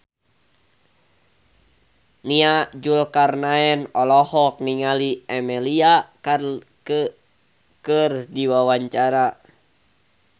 Nia Zulkarnaen olohok ningali Emilia Clarke keur diwawancara